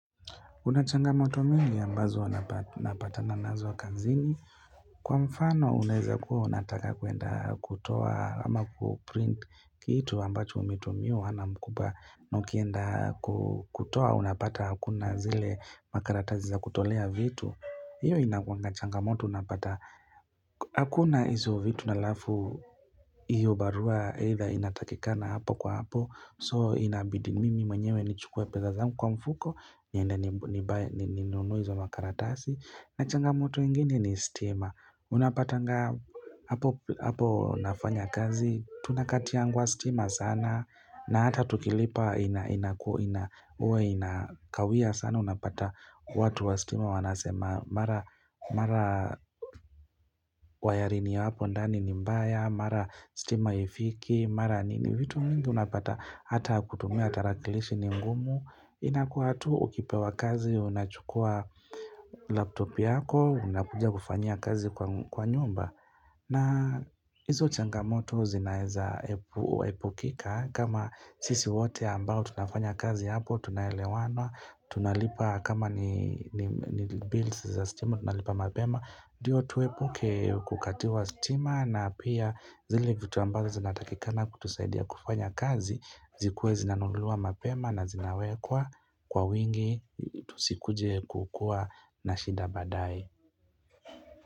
Kunachangamoto nyingi ambazo napatana nazo kazini. Kwa mfano unaeza kuwa unataka kuenda kutoa ama kuprinti kitu ambacho umetumiwa na mkubwa. Na ukienda kutoa unapata hakuna zile makaratazi za kutolea vitu. Hiyo inakuwa changamoto unapata hakuna hizo vitu alafu iyo barua either inatakikana hapo kwa hapo. So inabidi mimi mwenyewe nichukue pesa zangu kwa mfuko niende ninunue hizo makaratasi nachangamoto yengine ni stima unapatanga hapo nafanya kazi tunakatiwa stima sana na hata tukilipa inakua inakawia sana unapata watu wa stima wanasema mara wayaringi ya hapo ndani ni mbaya mara stima haifiki mara nini vitu mingi unapata hata kutumia tarakilishi ni ngumu inakuwa tu ukipewa kazi unachukua laptopu yako unakuja kufanya kazi kwa nyumba na hizo changamoto zinaeza epukika kama sisi wote ambao tunafanya kazi hapo tunaelewanwa tunalipa kama ni bills za stima tunalipa mapema ndio tuepuke kukatiwa stima na pia zile vitu ambazo zinatakikana kutusaidia kufanya kazi zikuwe zina nunuliwa mapema na zinawekwa kwa wingi tusikuje kukua na shida baadae.